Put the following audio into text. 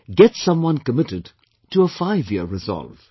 Get someone committed to a fiveyear resolve